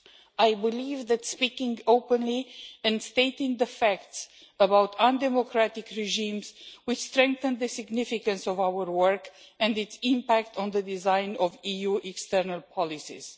I believe that speaking openly and stating the facts about undemocratic regimes will strengthen the significance of our work and its impact on the design of EU external policies.